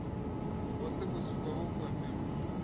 wasebusuku awukho mpilweni